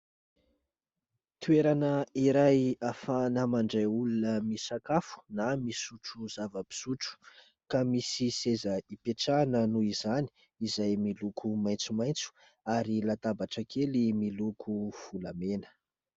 Toerana iray afahana mandray olona misakafo na misotro zava-pisotro ka misy seza ipetrahana noho izany, izay miloko maitsomaitso ary latabatra kely miloko volamena.